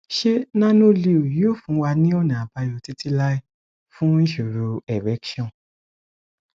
ṣé nanoleo yóò fún wa ní ọnà àbáyọ títí láé fún ìṣòro erection